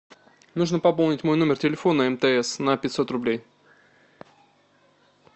нужно пополнить мой номер телефона мтс на пятьсот рублей